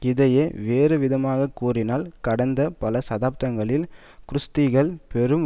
இதையே வேறுவிதமாக கூறினால் கடந்த பல சதாப்தங்கள் குர்திஸ்கள் பெரும்